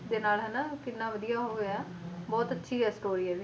ਦੇ ਨਾਲ ਹਨਾ ਕਿੰਨਾ ਵਧੀਆ ਹੋ ਗਿਆ ਬਹੁਤ ਅੱਛੀ ਹੈ story ਇਹਦੀ